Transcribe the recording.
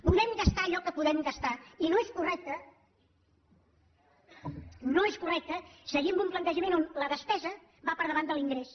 podem gastar allò que podem gastar i no és correcte seguir amb un plantejament on la despesa va per davant de l’ingrés